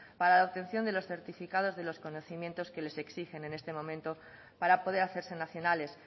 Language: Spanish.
para la obtención de los certificados de los conocimientos que les exigen en este momento para poder hacerse nacionales